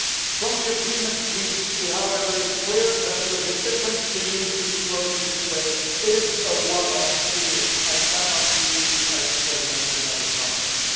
From the agreement reached it is, however, clear that the decision to use reflows in this way is a one off deal and cannot be used as a precedent in other contexts.